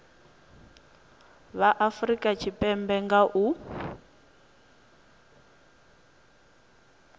vha afurika tshipembe nga u